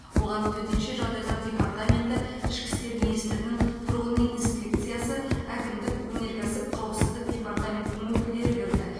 оған төтенше жағдайлар департаменті ішкі істер министрінің тұрғын үй инспекциясы әкімдік өнеркәсіп қауіпсіздік департаментінің өкілдері кірді